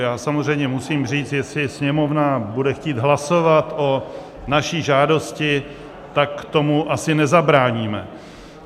Já samozřejmě musím říct, jestli Sněmovna bude chtít hlasovat o naší žádosti, tak tomu asi nezabráníme.